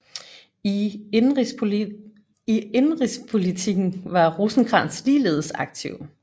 I indenrigspolitikken var Rosenkrantz ligeledes aktiv